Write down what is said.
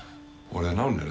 voru þeir nánir